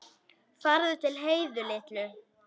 Farðu til Heiðu litlu.